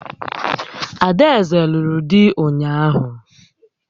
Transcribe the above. Ada eze lụrụ dị ụnyaahụ